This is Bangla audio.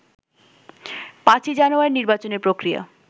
৫ই জানুয়ারির নির্বাচনী প্রক্রিয়া